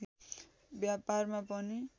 व्यापारमा पनि